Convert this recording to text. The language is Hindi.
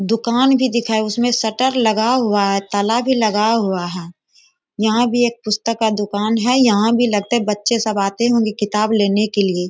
दुकान भी दिख रहा है। उसमे शटर लगा हुआ है ताला भी लगा हुआ है। यहाँ भी एक पुस्तक का दुकान है। यहाँ भी लगता है बच्चे सब आते होंगे किताब लेने के लिए।